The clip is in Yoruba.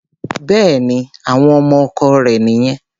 Bẹ́ẹ̀ni, àwọn ọmọ ọkọ rẹ̀ nìyẹn.